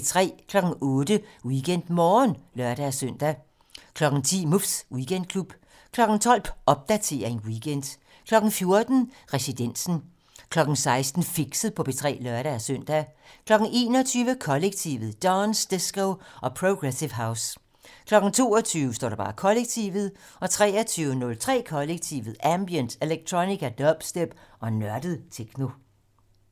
08:00: WeekendMorgen (lør-søn) 10:00: Muffs Weekendklub 12:00: Popdatering weekend 14:00: Residensen 16:00: Fixet på P3 (lør-søn) 21:00: Kollektivet: Dance, disco og progressive house 22:00: Kollektivet 23:03: Kollektivet: Ambient, electronica, dubstep og nørdet techno